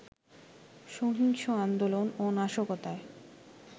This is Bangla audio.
সহিংস আন্দোলন ও নাশকতায়